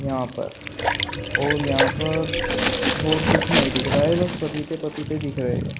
यहाँ पर और यहां पर और कुछ नहीं दिख रहा है बस पपीते पपीते दिख रहे हैं।